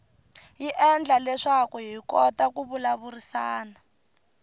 yi endla leswaku hi kota ku vulavurisana